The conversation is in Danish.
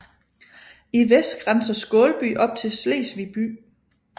I vest grænser Skålby op til Slesvig by